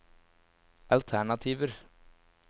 alternativer